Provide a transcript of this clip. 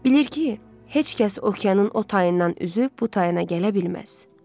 Bilir ki, heç kəs okeanın o tayından üzüb bu tayına gələ bilməz.